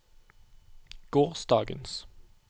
gårsdagens